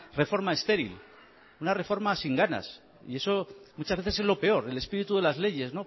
reforma estéril una reforma sin ganas y eso muchas veces es lo peor el espíritu de las leyes